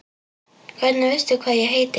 Hvernig veistu hvað ég heiti?